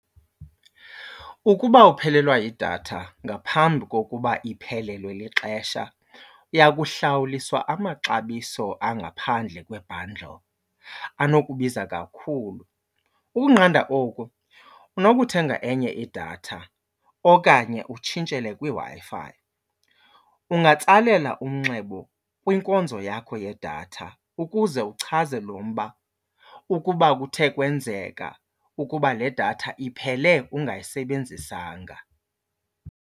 Ukuba uphelelwa yidatha ngaphambi kokuba iphelelwe lixesha uya kuhlawuliswa amaxabiso angaphandle kwe-bundle anokubiza kakhulu. Ukunqanda oku unokuthenga enye idatha okanye utshintshele kwiWi-Fi. Ungatsalela umnxeba kwinkonzo yakho yedatha ukuze uchaze lo mba ukuba kuthe kwenzeka ukuba le datha iphele ungayisebenzisanga.